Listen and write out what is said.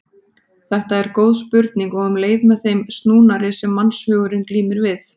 Þetta er góð spurning og um leið með þeim snúnari sem mannshugurinn glímir við.